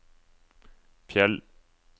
Fjell